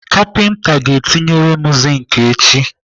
Kapinta ga-etinyere m zink echi.